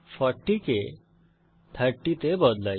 40 কে 30 তে বদলাই